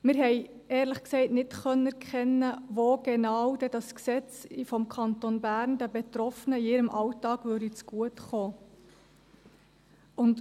Wir haben, ehrlich gesagt, nicht erkennen können, wo genau dieses Gesetz des Kantons Bern den Betroffenen in ihrem Alltag zugutekommen würde.